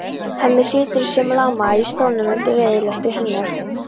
Hemmi situr sem lamaður í stólnum undir reiðilestri hennar.